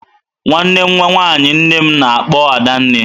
Nwanne nwaanyị nnem na-akpọ Adanne.